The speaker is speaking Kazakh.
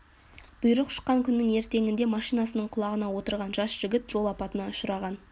бұйрық шыққан күннің ертеңінде машинасының құлағына отырған жас жігіт жол апатына ұшыраған